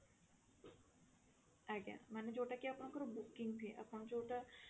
ଆଜ୍ଞା ମାନେ ଯଉଟା କି ଆପଣଙ୍କ ର booking fee ଆପଣ ଯଉଟା